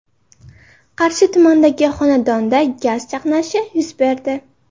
Qarshi tumanidagi xonadonda gaz chaqnashi yuz berdi.